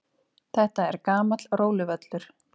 Þetta er gamall róluvöllur.